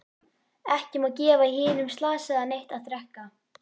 Ekki má gefa hinum slasaða neitt að drekka.